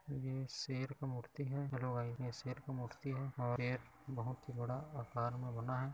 ये शेर का मूर्ति है। शेर का मूर्ति है और यह बहोत ही बड़ा फार्म बना है।